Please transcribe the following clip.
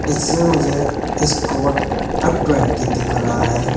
इससे मुझे Escort F twenty दिख रहा है।